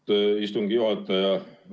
Aitäh, istungi juhataja!